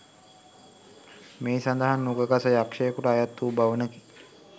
මෙහි සඳහන් නුග ගස යක්‍ෂයකුට අයත් වූ භවනකි